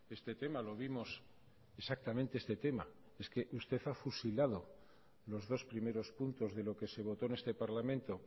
este tema lo vimos exactamente este tema es que usted ha fusilado los dos primeros puntos de lo que se votó en este parlamento